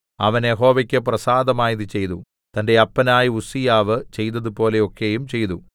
അവൻ യഹോവയ്ക്ക് പ്രസാദമായത് ചെയ്തു തന്റെ അപ്പനായ ഉസ്സീയാവ് ചെയ്തതുപോലെ ഒക്കെയും ചെയ്തു